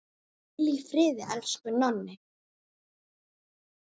Hvíl í friði, elsku Nonni.